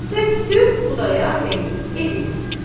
Tökdü Xudayar bəyin evinə.